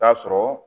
Taa sɔrɔ